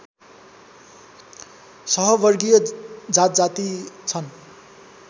सहवर्गीय जातजाति छन्